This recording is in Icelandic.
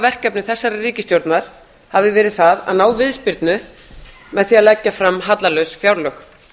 verkefni þessarar ríkisstjórnar hafi verið það að ná viðspyrnu með því að leggja fram hallalaus fjárlög